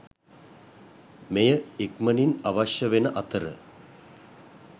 මේය ඉක්මනින් අවශ්‍ය වෙන අතර